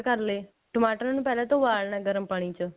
ਕਰ ਲਏ ਟਮਾਟਰ ਨੂੰ ਪਹਿਲਾਂ ਤਾਂ ਉਬਾਲਣਾ ਗਰਮ ਪਾਣੀ ਚ